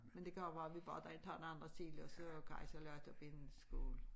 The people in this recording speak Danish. Men det kan også være bare tager nogle andre sild og så karrysild er op i en skål